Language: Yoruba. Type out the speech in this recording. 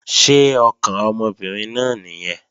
Ṣé ọkàn ọmọbìnrin náà nìyẹn?